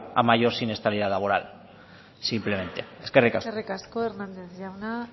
a mayor siniestralidad laboral simplemente eskerrik asko eskerrik asko hernández jauna